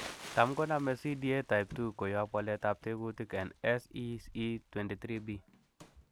Tam konome CDA type II koyob waletab tekutik en SEC23B.